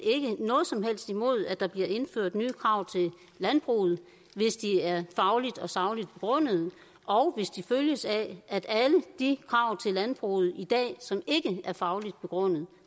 noget som helst imod at der bliver indført nye krav til landbruget hvis de er fagligt og sagligt begrundet og hvis de følges af at alle de krav til landbruget i dag som ikke er fagligt begrundet